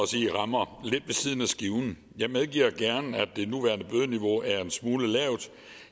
sige rammer lidt ved siden af skiven jeg medgiver gerne at det nuværende bødeniveau er en smule lavt